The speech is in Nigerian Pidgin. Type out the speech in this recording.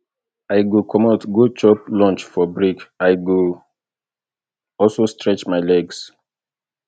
i go comot go chop for lunch break i go also stretch my legs